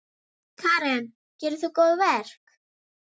Karen: Gerir þú góðverk?